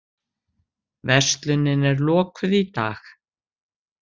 Verslunin er lokuð í dag